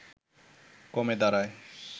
কমে দাঁড়ায়